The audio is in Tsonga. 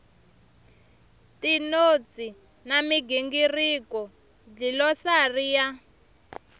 tinotsi na migingiriko dlilosari ya